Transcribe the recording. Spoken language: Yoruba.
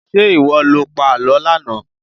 Ṣé ìwọ lo pa àlọ́ lánàá?